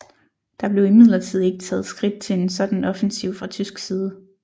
Der blev imidlertid ikke taget skridt til en sådan offensiv fra tysk side